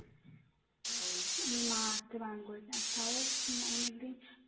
ওর মা আসতে বারণ করেছে আর তাও অনেকদিন